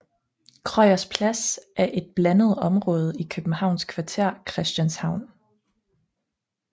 Krøyers Plads er et blandet område i det københavnske kvarter Christianshavn